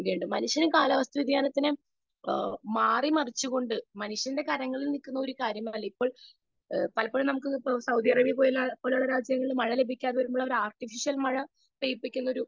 speaker 2 മനുഷ്യന് കാലാവസ്ഥ വ്യതിയാനത്തിനെ മാറി മറിച്ചു കൊണ്ട് മനുഷ്യന്റെ കരങ്ങളിൽ നിൽക്കുന്ന ഒരു കാര്യമല്ല ഇപ്പൊ പലപ്പോഴും നമുക്ക് സൗദി അറേബ്യ പോലുള്ള രാജ്യങ്ങളിൽ മഴ ലഭിക്കാതെ ആർട്ടിഫിഷ്യൽ മഴ പെയ്യിക്കുന്ന ഒരു